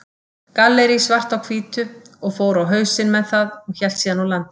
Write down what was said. Gallerí Svart á Hvítu, og fór á hausinn með það og hélt síðan úr landi.